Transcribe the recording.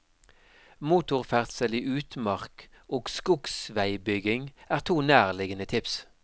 Motorferdsel i utmark og skogsvegbygging er to nærliggande tips.